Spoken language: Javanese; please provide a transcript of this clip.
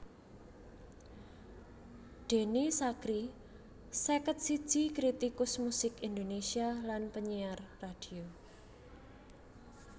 Denny Sakrie seket siji kritikus musik Indonésia lan panyiar radio